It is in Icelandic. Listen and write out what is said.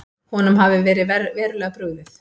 Honum hafi verið verulega brugðið.